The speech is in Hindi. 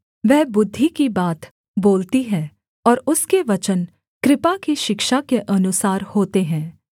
वह बुद्धि की बात बोलती है और उसके वचन कृपा की शिक्षा के अनुसार होते हैं